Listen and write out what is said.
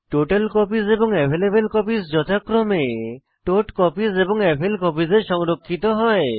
total copies এবং available copies যথাক্রমে tot copies এবং এভেইলকপিস এ সংরক্ষিত হয়